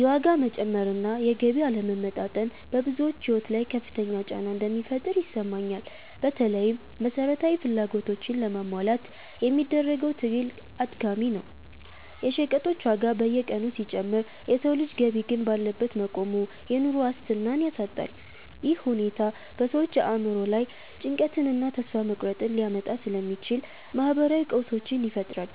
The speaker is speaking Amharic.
የዋጋ መጨመር እና የገቢ አለመመጣጠን በብዙዎች ሕይወት ላይ ከፍተኛ ጫና እንደሚፈጥር ይሰማኛል። በተለይም መሠረታዊ ፍላጎቶችን ለማሟላት የሚደረገው ትግል አድካሚ ነው። የሸቀጦች ዋጋ በየቀኑ ሲጨምር የሰው ልጅ ገቢ ግን ባለበት መቆሙ፣ የኑሮ ዋስትናን ያሳጣል። ይህ ሁኔታ በሰዎች አእምሮ ላይ ጭንቀትንና ተስፋ መቁረጥን ሊያመጣ ስለሚችል፣ ማኅበራዊ ቀውሶችን ይፈጥራል።